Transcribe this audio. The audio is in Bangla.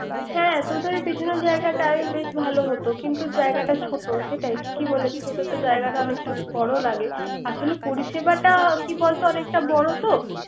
হ্যা তোদের ওই পিছনের জায়গাটাই বেশ ভালো হতো। কিন্তু জায়গাটা ছোট হতে। পরিসেবা জায়গাটা বর লাগে। আসলে পরিসেবাটাই কি বলতো অনেক বড়ত